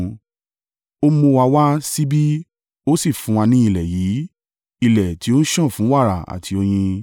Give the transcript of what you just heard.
Ó mú wa wá síbí, ó sì fún wa ní ilẹ̀ yìí, ilẹ̀ tí ó ń sàn fún wàrà àti oyin;